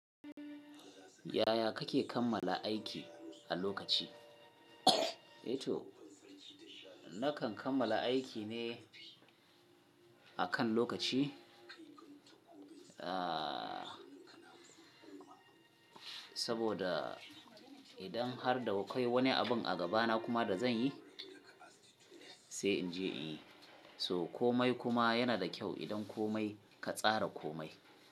Yaya kake kammala aiki a lokaci? Ito, nakan kammala aiki ne akan lokaci, aa saboda idan har da kai wani abin a gabana kuma da zan yi, sai in je in yi. So komai kuma yana da kyau idan komai ka tsara komai.